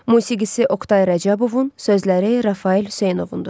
Musigisi Oqtay Rəcəbovun, sözləri Rafael Hüseynovundur.